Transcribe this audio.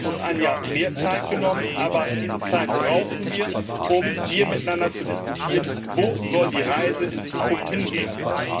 Wir haben uns ein Jahr mehr Zeit genommen, aber diese Zeit brauchten wir, um hier miteinander zu diskutieren, wo die Reise in Zukunft hingehen soll.